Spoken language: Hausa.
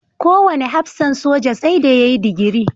Kowane hafsan soja sai da ya yi digiri.